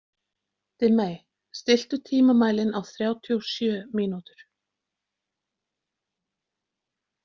Dimmey, stilltu tímamælinn á þrjátíu og sjö mínútur.